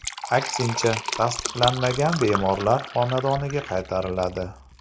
Aksincha, tasdiqlanmagan bemorlar xonadoniga qaytariladi.